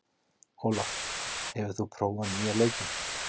Olaf, hefur þú prófað nýja leikinn?